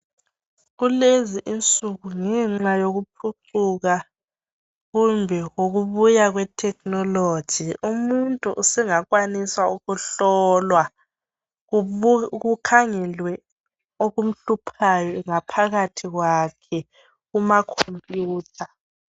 Kulezi insuku ngenxa yokuphucuka kumbe ukubuya kwe technology. Umuntu usengakwanisa ukuhlolwa kukhangelwe okumhluphayo ngaphakathi kwakhe kumakhompiyutha.